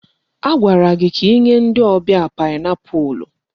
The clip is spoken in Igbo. Agwara gị ka inye ndị ọbịa paịnapụlụ!